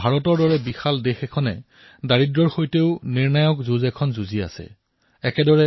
ভাৰতৰ দৰে বিশাল দেশ যি উন্নয়নৰ বাবে তৎপৰ দুখীয়াৰ সৈতে নিৰ্ণায়ক যুদ্ধত অৱতীৰ্ণ হৈছে